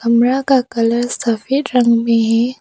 कमरा का कलर सफेद रंग में है।